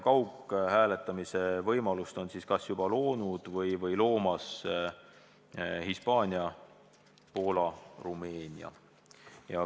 Kaughääletamise võimaluse on kas juba loonud või loomas Hispaania, Poola ja Rumeenia.